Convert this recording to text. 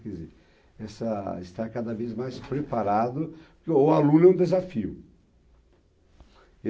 Quer dizer, essa, estar cada vez mais preparado, porque o aluno é um desafio.